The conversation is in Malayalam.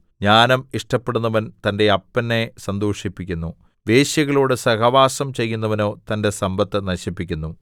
ജ്ഞാനം ഇഷ്ടപ്പെടുന്നവൻ തന്റെ അപ്പനെ സന്തോഷിപ്പിക്കുന്നു വേശ്യകളോട് സഹവാസം ചെയ്യുന്നവനോ തന്റെ സമ്പത്ത് നശിപ്പിക്കുന്നു